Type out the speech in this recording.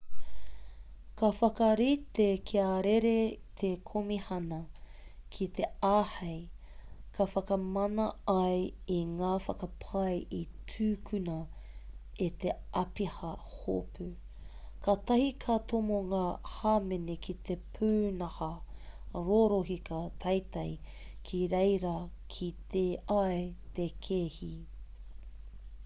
ka whakarite kia rere te komihana ki te āhei ka whakamana ai i ngā whakapae i tūkuna e te āpiha hopu katahi ka tomo ngā hāmene ki te pūnaha rorohiko teiti ki reira kite ai te kēhi